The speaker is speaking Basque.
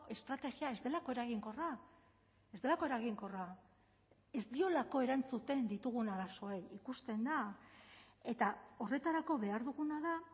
estrategia ez delako eraginkorra ez delako eraginkorra ez diolako erantzuten ditugun arazoei ikusten da eta horretarako behar duguna da